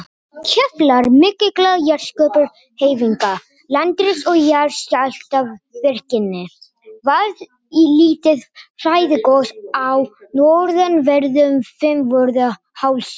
Í kjölfar mikilla jarðskorpuhreyfinga, landriss og jarðskjálftavirkni, varð lítið flæðigos á norðanverðum Fimmvörðuhálsi.